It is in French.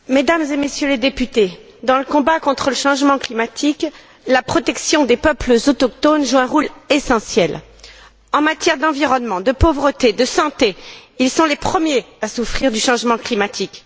Madame la Présidente, Mesdames et Messieurs les députés, dans le combat contre le changement climatique, la protection des peuples autochtones joue un rôle essentiel. En matière d'environnement, de pauvreté, de santé, ils sont les premiers à souffrir du changement climatique.